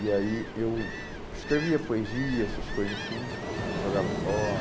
E aí eu escrevia poesia, essas coisas assim, e jogava